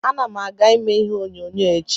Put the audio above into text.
Ana m aga ime ihe onyonyo echi.